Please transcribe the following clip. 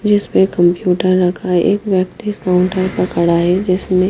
जिसमें कम्प्यूटर रखा है एक व्यक्ति इस काउंटर पर खड़ा है जिसने--